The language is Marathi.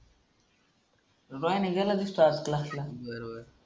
बायण गेल की नाहीस क्लासला बरं बरं